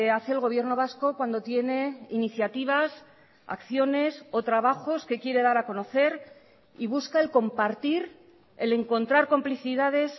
hace el gobierno vasco cuando tiene iniciativas acciones o trabajos que quiere dar a conocer y busca el compartir el encontrar complicidades